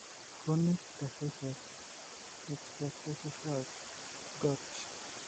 Chronic tophaceous{xtoe Fay shus} gout.